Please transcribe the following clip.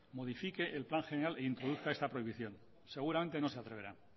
modifique el plan general e introduzca esta prohibición seguramente no se atreverá